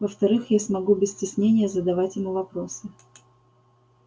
во-вторых я смогу без стеснения задавать ему вопросы